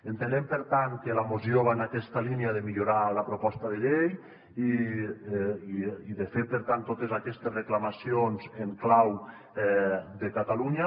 entenem per tant que la moció va en aquesta línia de millorar la proposta de llei i de fer per tant totes aquestes reclamacions en clau de catalunya